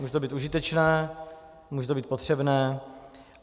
Může to být užitečné, může to být potřebné.